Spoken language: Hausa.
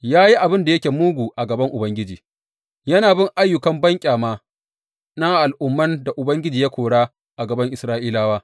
Ya yi abin da yake mugu a gaban Ubangiji, yana bin ayyukan banƙyama na al’umman da Ubangiji ya kora a gaban Isra’ilawa.